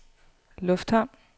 lufthavn